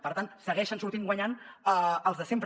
per tant hi segueixen sortint guanyant els de sempre